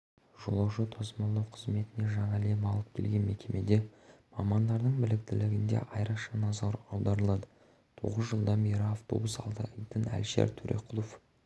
жолаушы тасымалдау қызметіне жаңа леп алып келген мекемеде мамандардың біліктілігіне де айрықша назар аударылады тоғыз жылдан бері автобус айдайтын әлішер төреқұлов